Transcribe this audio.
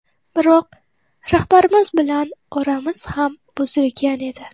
Biroq rahbarimiz bilan oramiz ham buzilgan edi.